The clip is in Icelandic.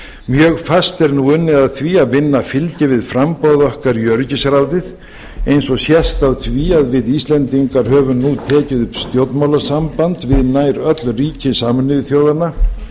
mjög fast er nú unnið að því að vinna fylgi við framboð okkar í öryggisráðið eins og sést á því að við íslendingar höfum nú tekið upp stjórnmálasamband við nær öll ríki sameinuðu þjóðanna